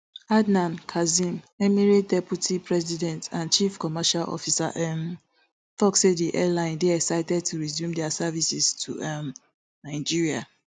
adnan kazim emirates deputy president and chief commercial officer um tok say di airline dey excited to resume dia services to um nigeria